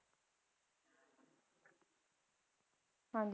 ਹਾਂਜੀ